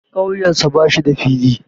Ƙauyensa ba shi da fili.